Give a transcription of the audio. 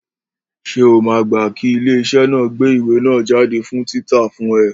Ṣé o máa gbá kí ilé iṣẹ́ náà ó gbé ìwé náà jáde fún títa fún ẹ?